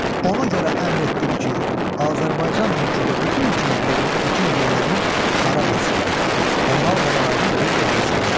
Ona görə əmr etdim ki, Azərbaycan mülkündə bütün kəndlərin əkin yerlərini xarab etsinlər və mal-qaralarını qovub gətirsinlər.